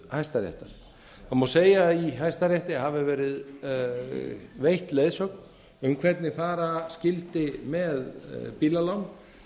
hæstaréttar það má segja að í hæstarétti hafi verið veitt leiðsögn um hvernig fara skyldi með bílalán